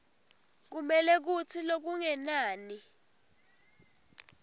kumele kutsi lokungenani